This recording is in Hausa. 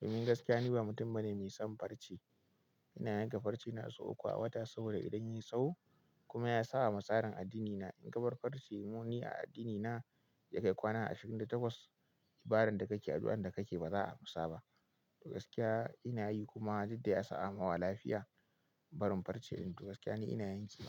Domin gaskiya ni ba mutum bane mai son farce. Ina yanka farce na sau uku a wata, saboda idan yayi tsaho kuma ya sabawa ma tsarin addinina. In ka bar farce don ni a addinina ya kai kwana ashirin da takwas, ibadan da kake addu'an da kake baza a amsa ba. To gaskiya ina yi kuma duk dai a sa angama lafiya barin farce. Ni duk gaskiya ni ina yin ke.